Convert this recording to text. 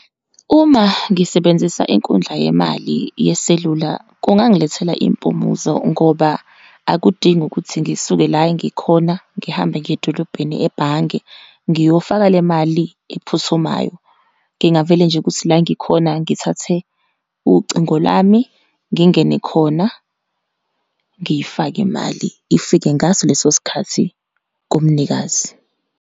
Uma ngisebenzisa inkundla yemali yeselula, kungangilethela impumuzo ngoba akudingi ukuthi ngisuke la engikhona ngihambe ngiye edolobheni ebhange, ngiyofaka le mali ephuthumayo. Ngingavele nje ukuthi la ngikhona, ngithathe ucingo lami ngingene khona, ngiyifake imali, ifike ngaso leso sikhathi kumnikazi.